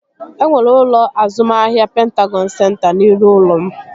E nwere ụlọ azụmahịa Pentagọn senta n'iru ụlọ m